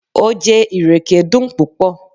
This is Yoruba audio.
Ojé ìrèké dun pupọ